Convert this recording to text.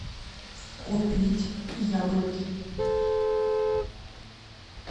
купить яблоки